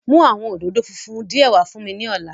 Mu awọn ododo funfun diẹ wa fun mi ni ọla